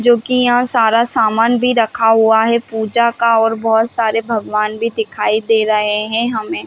जो की यहाँ सारा सामान भी रखा हुआ है पूजा का और बहोत सारे भगवान भी दिखाई दे रहे है हमें--